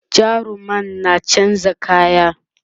jarumar na chanza kaya